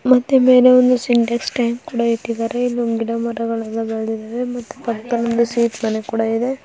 ಮತ್ತೆ ಮೇಲೆ ಒಂದು ಸಿಂಟೆಕ್ಸ್ ಟ್ಯಾಂಕ್ ಕೂಡ ಇಟ್ಟಿದ್ದಾರೆ ಇಲ್ಲೊಂದು ಗಿಡ ಮರಗಳೆಲ್ಲಾ ಬೆಳದಿದಾವೆ ಮತ್ತೆ ಪಕ್ಕದಲ್ಲಿ ಸೀಟ್ ಮನೆ ಕೂಡ ಇದೆ.